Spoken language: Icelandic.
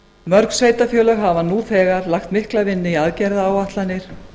mörg sveitarfélög hafa nú þegar lagt mikla vinnu í aðgerðaáætlanir